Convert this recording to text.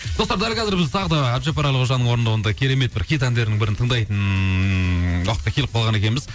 достар дәл қазір біз тағы да әбдіжаппар әлқожаның орындауында керемет бір хит әндерінің бірін тыңдайтын уақытқа келіп қалған екенбіз